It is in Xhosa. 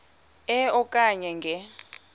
e okanye nge